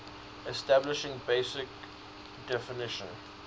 establishing basic definition